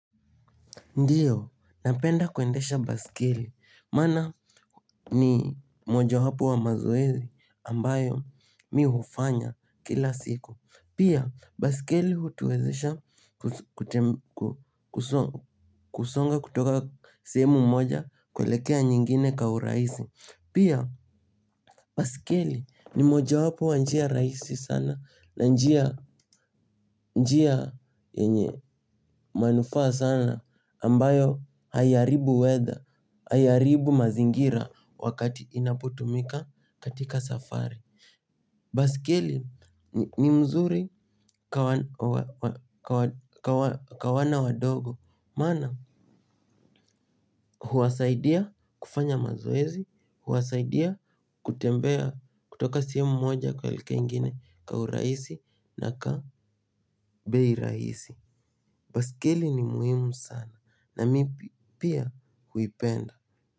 Ndiyo, napenda kuendesha baiskeli maana ni moja wapo wa mazoezi ambayo mi hufanya kila siku. Pia baiskeli hutuwezesha kusonga kutoka sehemu moja kuelekea nyingine kwa urahisi. Pia baiskeli ni moja wapo wa njia rahisi sana. Na njia njia yenye manufaa sana ambayo haiaribu weather, haiaribu mazingira wakati inapotumika katika safari baiskeli ni mzuri kwa wana wadogo maana huwasaidia kufanya mazoezi. Huwasaidia kutembea kutoka sehemu moja kuelekea ingine kwa urahisi na kwa bei rahisi baiskeli ni muhimu sana na mi pia huipenda.